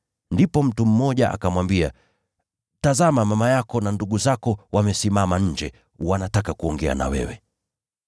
Ndipo mtu mmoja akamwambia, “Tazama, mama yako na ndugu zako wamesimama nje, wanataka kuongea na wewe.”